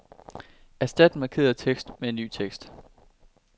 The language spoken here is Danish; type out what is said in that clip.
Erstat den markerede tekst med ny tekst.